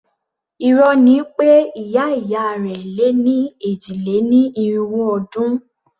Irọ́ ni pé ìyá ìyá rẹ̀ lé ní èjì-lé-ní-irínwó ọdún.